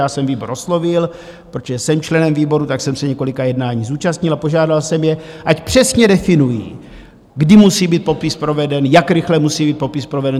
Já jsem výbor oslovil, protože jsem členem výboru, tak jsem se několika jednání zúčastnil, a požádal jsem je, ať přesně definují, kdy musí být popis proveden, jak rychle musí být popis proveden.